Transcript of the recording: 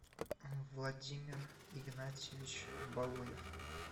владимир игнатьевич балуев